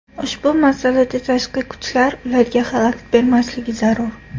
Ushbu masalada tashqi kuchlar ularga xalaqit bermasligi zarur.